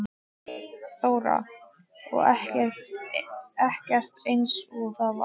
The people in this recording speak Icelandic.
Þóra: Og ekkert eins og var áður?